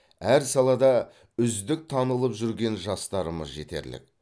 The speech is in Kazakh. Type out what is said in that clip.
әр салада үздік танылып жүрген жастарымыз жетерлік